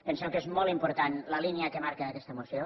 pensem que és molt important la línia que marca aquesta moció